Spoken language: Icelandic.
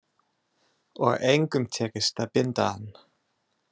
Og engum tekist að binda hann.